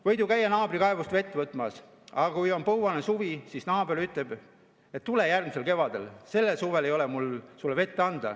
Võid ju käia naabri kaevust vett võtmas, aga kui on põuane suvi, siis naaber ütleb: tule järgmisel kevadel, sellel suvel ei ole mul sulle vett anda.